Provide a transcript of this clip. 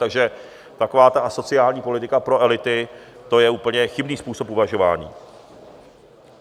Takže taková ta asociální politika pro elity, to je úplně chybný způsob uvažování.